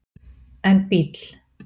en bíll